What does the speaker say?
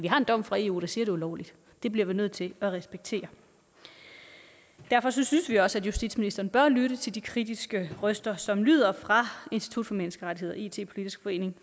har en dom fra eu der siger er ulovligt det bliver vi nødt til at respektere og derfor synes synes vi også at justitsministeren bør lytte til de kritiske røster som lyder fra institut for menneskerettigheder it politisk forening